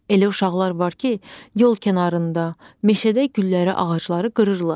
Elə uşaqlar var ki, yol kənarında, meşədə gülləri, ağacları qırırlar.